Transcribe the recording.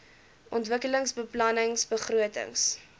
ontwikkelingsbeplanningbegrotings